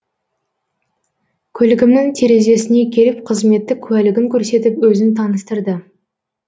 көлігімнің терезесіне келіп қызметтік куәлігін көрсетіп өзін таныстырды